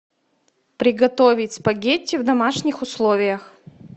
приготовить спагетти в домашних условиях